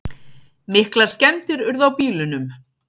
Miklar skemmdir urðu á bílunum